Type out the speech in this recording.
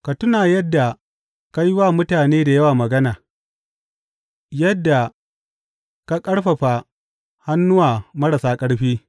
Ka tuna yadda ka yi wa mutane da yawa magana, yadda ka ƙarfafa hannuwa marasa ƙarfi.